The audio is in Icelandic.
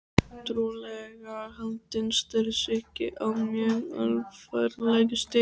Trúlega haldinn stelsýki á mjög alvarlegu stigi.